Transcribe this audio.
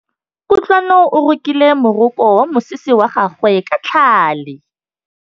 Kutlwanô o rokile morokô wa mosese wa gagwe ka tlhale.